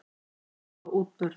Ætla að stöðva útburð